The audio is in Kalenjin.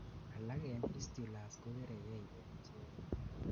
alak en fistulas kokeregei en icheken